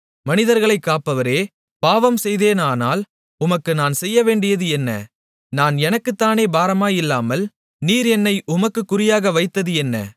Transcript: மனிதர்களைக் காப்பவரே பாவம்செய்தேனானால் உமக்கு நான் செய்யவேண்டியது என்ன நான் எனக்குத்தானே பாரமாயில்லாமல் நீர் என்னை உமக்குக் குறியாக வைத்தது என்ன